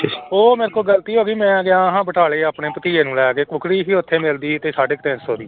ਉਹ ਮੇਰੇ ਕੋਲੋਂ ਗ਼ਲਤੀ ਹੋ ਗਈ ਮੈਂ ਗਿਆ ਹਾਂ ਬਟਾਲੇ ਆਪਣੇ ਭਤੀਜੇ ਨੂੰ ਲੈ ਕੇ ਕੁੱਕੜੀ ਸੀ ਉੱਥੇ ਮਿਲਦੀ ਤੇ ਸਾਢੇ ਤਿੰਨ ਸੌ ਦੀ।